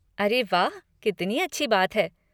अरे वाह, कितनी अच्छी बात है।